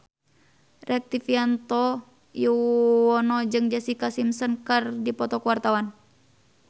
Rektivianto Yoewono jeung Jessica Simpson keur dipoto ku wartawan